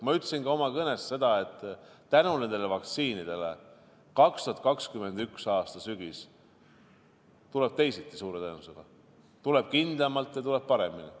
Ma ütlesin ka oma kõnes seda, et tänu nendele vaktsiinidele tuleb 2021. aasta sügis suure tõenäosusega teisiti – tuleb kindlamalt ja tuleb paremini.